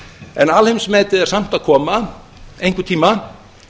en alheimsmetið er samt að koma einhvern tíma